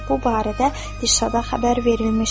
Bu barədə Dirşada xəbər verilmişdir.